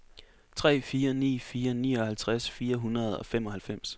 tre fire ni fire nioghalvtreds fire hundrede og femoghalvfems